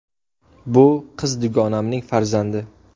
Bu qiz dugonamning farzandi.